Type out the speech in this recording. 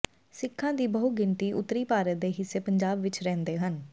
ਸਿੱਖਾਂ ਦੀ ਬਹੁਗਿਣਤੀ ਉੱਤਰੀ ਭਾਰਤ ਦੇ ਹਿੱਸੇ ਪੰਜਾਬ ਵਿਚ ਰਹਿੰਦੇ ਹਨ